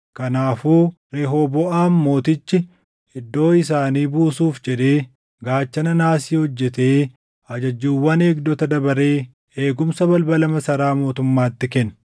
Kanaafuu Rehooboʼaam mootichi iddoo isaanii buusuuf jedhee gaachana naasii hojjetee ajajjuuwwan eegdota dabaree eegumsa balbala masaraa mootummaatti kenne.